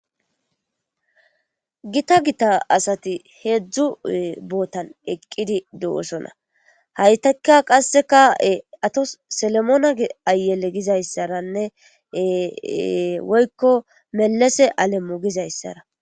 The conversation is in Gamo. gita gita asati heedzdzu bootan eqqidi do7osona haytakka qasseka7e ato selemoona ayele gizayssaranne woykko melese alemmo gizayssara